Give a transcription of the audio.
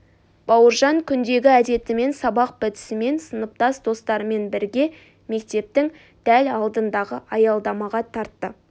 бауыржан күндегі әдетімен сабақ бітісімен сыныптас достарымен бірге мектептің дәл алдындағы аялдамаға тартты